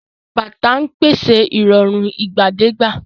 Àwọn bàtà ń pèsè ìrọ̀rùn ìgbàdégbà.